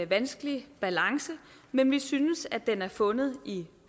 vanskelig balance men vi synes at den er fundet i